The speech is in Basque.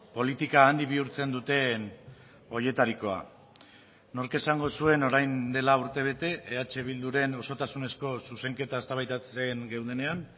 politika handi bihurtzen duten horietarikoa nork esango zuen orain dela urtebete eh bilduren osotasunezko zuzenketa eztabaidatzen geundenean